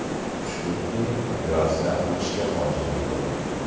Shukurki, operatsiya qilishga hojat yo‘q.